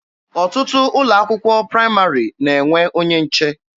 Ọtụtụ ụlọ akwụkwọ praịmarị na-enwe onye nche.